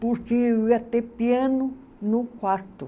Porque eu ia ter piano no quarto.